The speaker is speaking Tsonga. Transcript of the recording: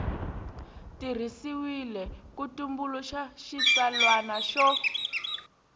tirhisiwile ku tumbuluxa xitsalwana xo